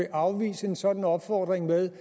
afvise en sådan opfordring ved